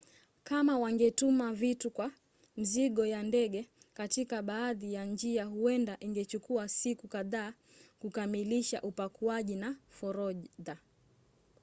kama wangetuma vitu kwa mizigo ya ndege katika baadhi ya njia huenda ingechukua siku kadhaa kukamilisha upakuaji na forodha